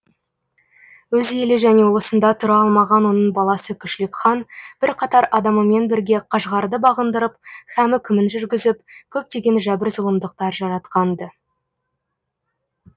өз елі және ұлысында тұра алмаған оның баласы күшлік хан бірқатар адамымен бірге қашғарды бағындырып һәм үкімін жүргізіп көптеген жәбір зұлымдықтар жаратқан ды